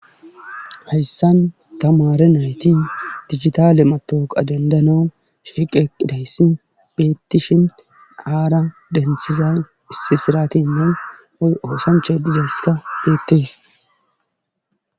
heyisan tamaare nayti digitaale matawooqa dendans shiqe eqidayssi beettishin haara denthizan issi siratinnan woy osanchay dizasi beettees